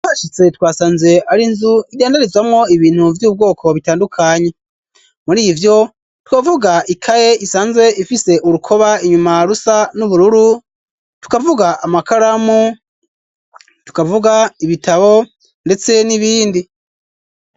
Washitse twasanze ari inzu idandarizwamwo ibintu vy'ubwoko bitandukanye muri ivyo twavuga ikaye isanzwe ifise urukoba inyuma rusa n'ubururu tukavuga amakaramu tukavuga ibitabo, ndetse n'ibindi.